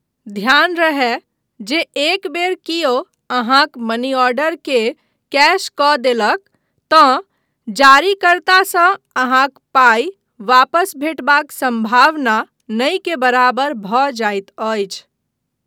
ध्यान रहय जे एक बेर कियो अहाँक मनीआर्डरके कैश कऽ देलक, तँ जारीकर्तासँ अहाँक पाइ वापस भेटबाक सम्भावना नहिके बराबर भऽ जाइत अछि।